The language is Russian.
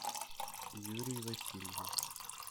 юрий васильев